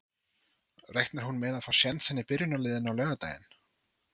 Reiknar hún með að fá sénsinn í byrjunarliðinu á laugardaginn?